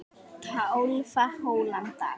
Tólfta holan í dag